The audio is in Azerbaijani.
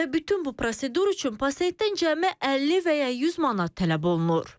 Və bütün bu prosedur üçün pasientdən cəmi 50 və ya 100 manat tələb olunur.